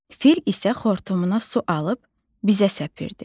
Fil isə xortumuna su alıb bizə səpirdi.